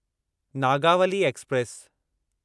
Nagavali express